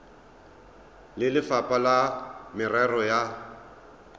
le lefapha la merero ya